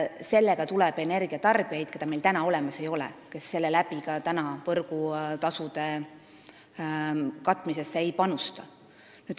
Sellega tuleb juurde energia tarbijaid, keda meil praegu olemas ei ole ja kes praegu ka võrgukulude katmisesse võrgutasu näol ei panusta.